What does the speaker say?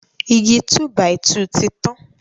Igi túbàìtù ti tán.